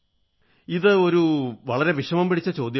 ഇതൊരു വളരെ വിഷമം പിടിച്ച ചോദ്യമാണ്